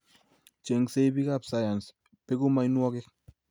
Chengsei bikap sayans, beku mianwokik